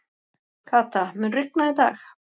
Kata, mun rigna í dag?